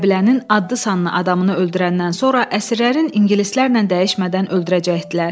Qəbilənin adlı-sanlı adamını öldürəndən sonra əsirlərin ingilislərlə dəyişmədən öldürəcəkdilər.